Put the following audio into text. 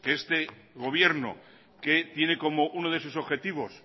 que este gobierno que tiene como uno de sus objetivos